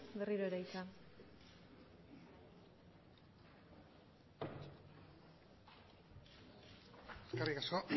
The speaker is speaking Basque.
berriro ere hitza eskerrik asko